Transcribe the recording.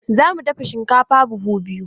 Za mu dafa shinkafa buhu biyu.